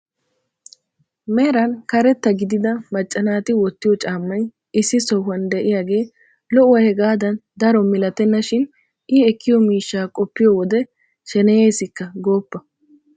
Meran karetta gidida macca naati wottiyoo caammay issi sohuwaan de'iyaagee lo'uwaa hegaadan daro milatenna shin i ekkiyoo miishshaa qoppiyoo wode sheneyeesikka gooppa!